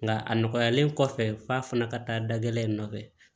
Nka a nɔgɔyalen kɔfɛ f'a fana ka taa dakɛlɛn nɔfɛ